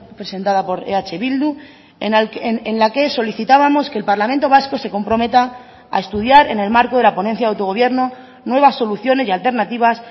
presentada por eh bildu en la que solicitábamos que el parlamento vasco se comprometa a estudiar en el marco de la ponencia de autogobierno nuevas soluciones y alternativas